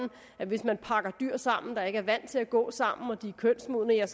at hvis man pakker dyr sammen og de ikke er vant til at gå sammen og de er kønsmodne er